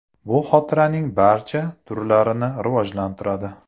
Bu xotiraning barcha turlarini rivojlantiradi.